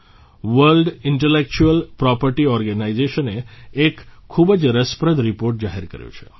world intellectual property organization એ એક ખૂબ જ રસપ્રદ રીપોર્ટ જાહેર કર્યો છે